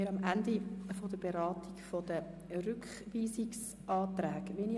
Wir sind am Ende der Beratung der Rückweisungsanträge angelangt.